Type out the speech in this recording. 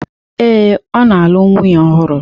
Ee, o ya na-alụ nwunye ohuru.